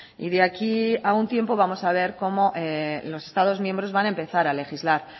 y de aquí a un tiempo vamos a ver como los estados miembros van a empezar a legislar